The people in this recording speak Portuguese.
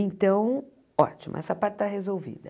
Então, ótimo, essa parte está resolvida.